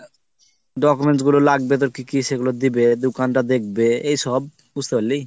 documents গুলো লাগবে তোর কি কি সেই গুলো দিবে দুঘন্টা দেখবে এইসব বুঝতেপারলি